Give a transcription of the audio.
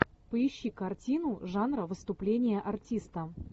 поищи картину жанра выступление артиста